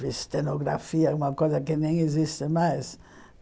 Fiz cenografia, uma coisa que nem existe mais.